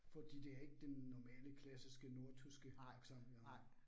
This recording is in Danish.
Fordi det er ikke den normale klassiske nordtyske accent, jeg har